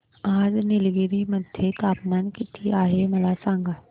आज निलगिरी मध्ये तापमान किती आहे मला सांगा